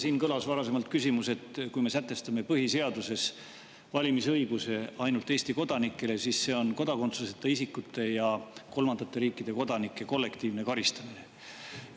Siin kõlas varasemalt küsimus, et kui me sätestame põhiseaduses valimisõiguse ainult Eesti kodanikele, siis see on kodakondsuseta isikute ja kolmandate riikide kodanike kollektiivne karistamine.